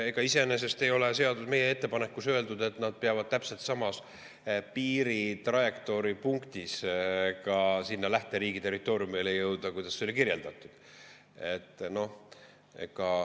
Ega iseenesest ei ole meie ettepanekus öeldud, et nad peavad täpselt samas piiritrajektoori punktis sinna lähteriigi territooriumile jõudma.